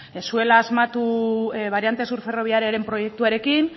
ez zuela asmatu variante sur ferroviariaren proiektuarekin